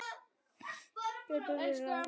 Góða ferð, kæra Veiga.